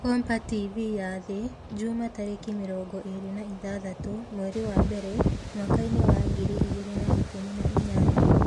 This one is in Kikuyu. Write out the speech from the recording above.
Kompa TV ya Thĩ Jumaa tarĩki mĩrongo ĩrĩ na ithathatũ, mweri wa mbere, mwakainĩ wa ngiri igĩrĩ na ikũmi na inyanya